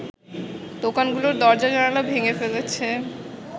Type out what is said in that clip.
দোকানগুলোর দরজা-জানালা ভেঙে ফেলেছে